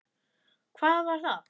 Hvað var það?